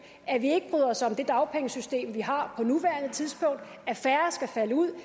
at vi ikke bryder os om det dagpengesystem vi har på nuværende tidspunkt at færre skal falde ud